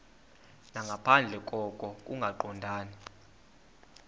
nangaphandle koko kungaqondani